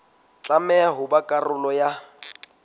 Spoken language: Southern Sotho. tlameha ho ba karolo ya